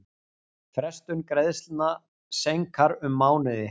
Frestun greiðslna seinkar um mánuði